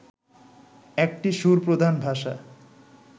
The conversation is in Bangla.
একটি সুরপ্রধান ভাষা